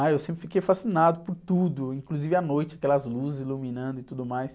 Ah, eu sempre fiquei fascinado por tudo, inclusive à noite, aquelas luzes iluminando e tudo mais.